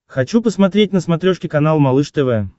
хочу посмотреть на смотрешке канал малыш тв